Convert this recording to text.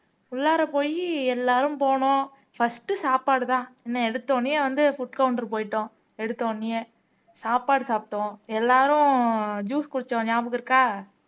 உள்ளாற போயி எல்லாரும் போனோம் first சாப்பாடுதான் இன்னும் எடுத்த உடனே வந்து food counter போயிட்டோம் எடுத்தவுடனேயே சாப்பாடு சாப்பிட்டோம் எல்லாரும் ஜூஸ் குடிச்சோம் ஞாபகம் இருக்கா